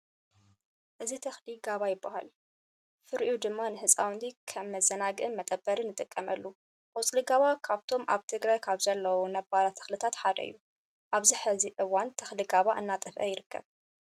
እዚ ተኽሊ ጋባ ይበሃል። ፍሩኡ ድማ ንህፃውንቲ ከም መዘናግዕን መጠበርን ንጥቐመሉ። ቆፅሊ ጋባ ካብቶም ኣብ ትግራይ ካብ ዘለው ነባራት ተኽልታት ሓደ እዩ። ኣብዚ ሕዚ እዋን ተኽሊ ጋባ እናጠፍኣ ይርከብ።